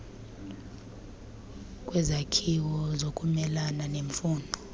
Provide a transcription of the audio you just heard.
kwezakhiwo zokumelana nemfuno